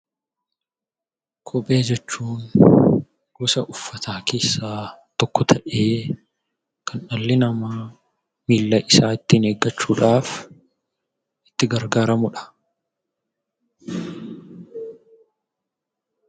Kophee jechuun gosa uffataa keessaa tokko ta'ee, kan dhalli namaa miilla isaa ittiin eeggachuudhaaf itti gargaaramu dha.